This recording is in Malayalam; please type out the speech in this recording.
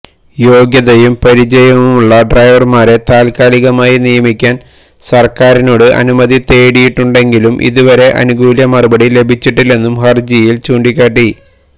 യോഗ്യതയും പരിചയവുമുള്ള ഡ്രൈവർമാരെ താത്കാലികമായി നിയമിക്കാൻ സർക്കാരിനോട് അനുമതി തേടിയിട്ടുണ്ടെങ്കിലും ഇതുവരെ അനുകൂല മറുപടി ലഭിച്ചിട്ടില്ലെന്നും ഹർജിയിൽ ചൂണ്ടിക്കാട്ടി